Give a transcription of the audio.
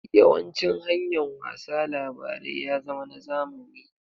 Yawancin hanyar wasa labarai ya zama na zamani.